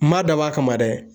N ma dabɔ a kama dɛ